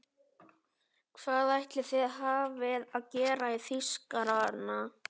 Hvað ætli þið hafið að gera í Þýskarana!